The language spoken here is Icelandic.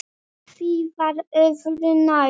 En því var öðru nær.